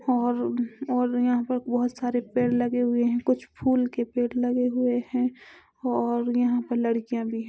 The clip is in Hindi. और और यहाँ पर बहोत सारे पेड़ लगे हुए है कुछ फूल के पेड़ लगे हुए है और यहाँ पर लडकियां भी--